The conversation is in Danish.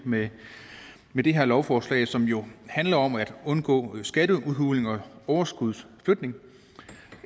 med med det her lovforslag som jo handler om at undgå skatteudhulning og overskudsflytning